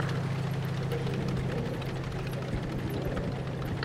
покажи мне кино с актрисой оливией уайлд